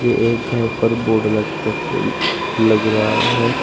यह एक घर पर बोर्ड लग तक लग रहा है।